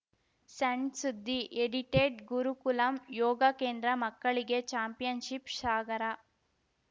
ಸಣ್‌ ಸುದ್ದಿ ಎಡಿಟೆಡ್‌ ಗುರುಕುಲಂ ಯೋಗ ಕೇಂದ್ರ ಮಕ್ಕಳಿಗೆ ಚಾಂಪಿಯನ್‌ಶಿಪ್‌ ಸಾಗರ